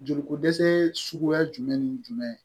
Joli ko dɛsɛ suguya jumɛn ni jumɛn